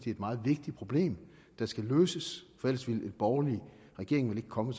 et meget vigtigt problem der skal løses ellers ville en borgerlig regering vel ikke komme